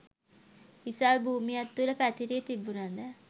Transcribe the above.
විසල් භූමියක් තුළ පැතිරී තිබුණ ද